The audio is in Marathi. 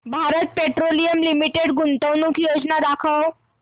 भारत पेट्रोलियम लिमिटेड गुंतवणूक योजना दाखव